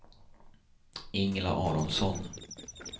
Ingela Aronsson